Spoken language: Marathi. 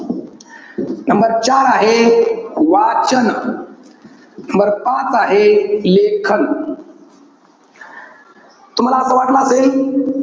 number चार आहे, वाचन. number पाच आहे, लेखन. तुम्हाला असं वाटलं असेल.